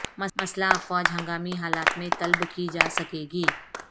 مسلح افواج ہنگامی حالات میں طلب کی جا سکے گی